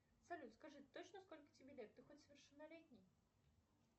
салют скажи точно сколько тебе лет ты хоть совершеннолетний